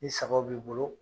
Ni sagaw b'i bolo